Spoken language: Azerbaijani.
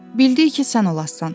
Bildi ki, sən olassan.